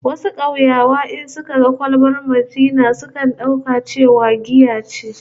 Wasu kauyawa in suka ga kwalbar Maltina sukan dauka cewa giya ce